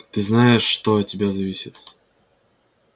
ты знаешь что от тебя зависит